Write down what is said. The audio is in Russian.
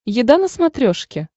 еда на смотрешке